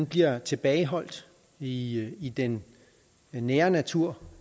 bliver tilbageholdt i i den nære natur